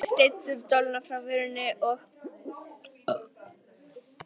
Heiða sleit dolluna frá vörunum og ropaði.